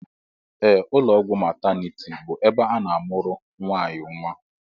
Ee, ụlọọgwụ mataniti bụ ebe a na-amụrụ nwaanyị nnwa